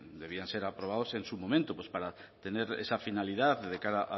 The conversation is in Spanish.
debían ser aprobados en su momento pues para tener esa finalidad de cara